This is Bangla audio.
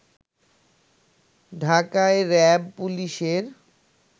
ঢাকায় র‍্যাব, পুলিশের